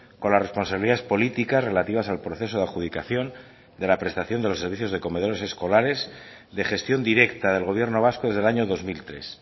con las responsabilidades políticas relativas al proceso de adjudicación de la prestación de los servicios de comedores escolares de gestión directa del gobierno vasco desde el año dos mil tres